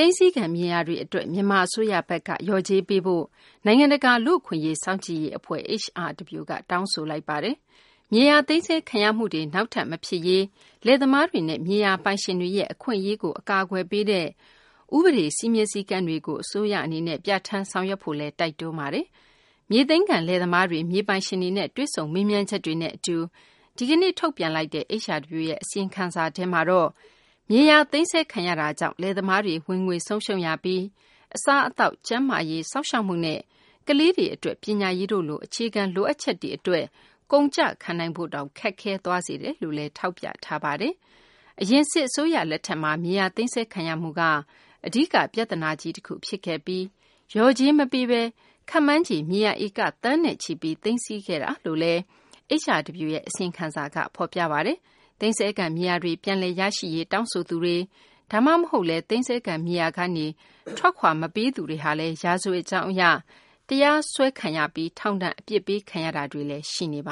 မ်းဆည်းခံ မြေယာတွေ အတွက် မြန်မာ အစိုးရဘက်က လျော်ကြေးပေးဖို့ နိုင်ငံတကာ လူ့အခွင့်အရေး စောင့်ကြည့်ရေး အဖွဲ့ HRW က တောင်းဆိုလိုက်ပါတယ်။ မြေယာ သိမ်းဆည်းခံရမှုတွေ နောက်ထပ် မဖြစ်စေရေး အတွက် လယ်သမားတွေနဲ့ မြေယာပိုင်ရှင်တွေရဲ့ အခွင့်အရေးကို အကာအကွယ်ပေးတဲ့ ဥပဒေ စည်းမျဉ်းစည်းကမ်းတွေကို အစိုးရ အနေနဲ့ ပြဌာန်းဆောင်ရွက်ဖို့လည်း HRW က တိုက်တွန်းပါတယ်။ မြေသိမ်းခံ လယ်သမားတွေ မြေပိုင်ရှင်တွေနဲ့ တွေ့ဆုံမေးမြန်းချက်တွေနဲ့ အတူ ဒီကနေ့ ထုတ်ပြန်လိုက်တဲ့ HRW ရဲ့ အစီရင်ခံစာထဲမှာတော့ မြေယာ သိမ်းဆည်းခံရမှုကြောင့် လယ်သမားတွေ ဝင်ငွေ ဆုံးရှုံးရပြီး အစားအသောက်၊ ကျန်းမာရေး စောင့်ရှောက်မှုနဲ့ ကလေးတွေ အတွက် ပညာရေးတို့လို အခြေခံ လိုအပ်ချက်တွေ အတွက် ကုန်ကျခံနိုင်ဖို့တောင် ခက်ခဲသွားစေတယ်လို့လည်း ထောက်ပြထားပါတယ်။ အရင် စစ်အစိုးရ လက်ထက်မှာ မြေယာ သိမ်းဆည်းခံရမှုက အဓိက ပြသနာကြီး တခု ဖြစ်ခဲ့ပြီး လျော်ကြေးမပေးဘဲ ခန့်မှန်းခြေ မြေယာ ဧက သန်းနဲ့ချီပြီး သိမ်းဆည်းခဲ့တယ်လို့လည်း HRW ရဲ့ အစီရင်ခံစာက ဖော်ပြပါတယ်။ သိမ်းဆည်းခံ မြေယာတွေ ပြန်လည်ရရှိရေး တောင်းဆိုသူတွေ ဒါမှမဟုတ်လည်း သိမ်းဆည်းခံ မြေယာကနေ ထွက်ခွာမပေးသူတွေလည်း ရာဇဝတ်ကြောင်း အရ တရားစွဲခံရပြီး ထောင်ဒဏ် အပြစ်ပေးခံရတာတွေလည်း ရှိနေတ